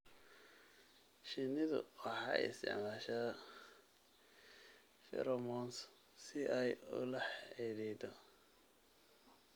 Shinnidu waxay isticmaashaa pheromones si ay ula xidhiidho.